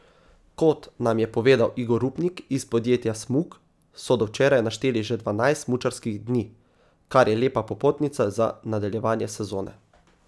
Kot nam je povedal Igor Rupnik iz podjetja Smuk, so do včeraj našteli že dvanajst smučarskih dni, kar je lepa popotnica za nadaljevanje sezone.